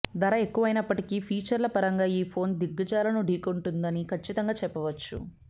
ధర ఎక్కువైనప్పటికీ ఫీచర్ల పరంగా ఈ ఫోన్ దిగ్గజాలను ఢీకొంటుందని కచ్చితంగా చెప్పవచ్చు